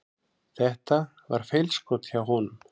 Þetta var feilskot hjá honum.